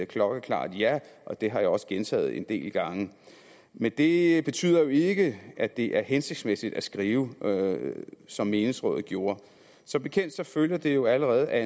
klokkeklart ja og det har jeg også gentaget en del gange men det betyder jo ikke at det er hensigtsmæssigt at skrive som menighedsrådet gjorde som bekendt følger det jo allerede af